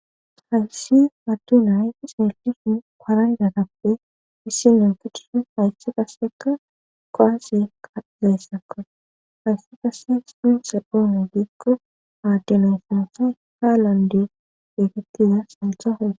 Hayssi adde nay xeelishin paranjatappe issi na gidid haysse qasseka kuwase ka'zaysakko haysse qaseka sinsepoone giikko aadde na' sunthay haalande gettiza sunthaza.